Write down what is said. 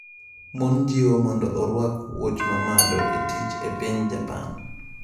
Mon jiwo mondo orwak wuoch ma malo e tich e piny Japan